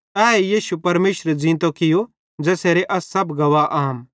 एहे यीशु परमेशरे ज़ींतो कियो ज़ेसेरे अस सब गवाह आम